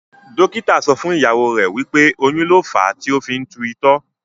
dókítà so fún ìyàwó rẹ, wípé oyún lo fa tí o fi ń tú itọ́.